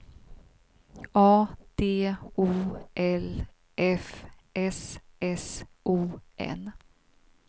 A D O L F S S O N